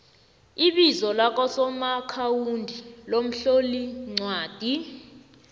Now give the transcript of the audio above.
ibizo lakasomaakhawundi lomhloliincwadi